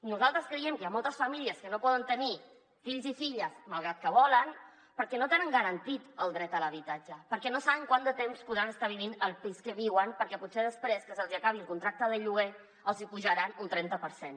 nosaltres creiem que hi ha moltes famílies que no poden tenir fills i filles malgrat que volen perquè no tenen garantit el dret a l’habitatge perquè no saben quant de temps podran estar vivint al pis que viuen perquè potser després que se’ls hi acabi el contracte de lloguer els hi apujaran un trenta per cent